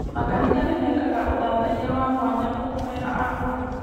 Makanitha nĩ mekaga ũthathaiya wa mwanya wa kũhoera arũaru.